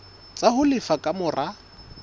tsa ho lefa ka mora